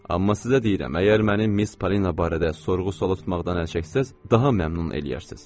Amma sizə deyirəm, əgər mənim Miss Palina barədə sorğu-suala tutmaqdan əl çəksəz, daha məmnun eləyərsiz.